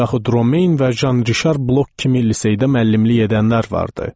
Yaxud Romen və Jan Rişar Blok kimi liseydə müəllimlik edənlər vardı.